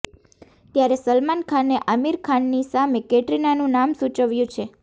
ત્યારે સલમાન ખાને આમિર ખાનની સામે કૈટરીનાનું નામ સૂચવ્યું છે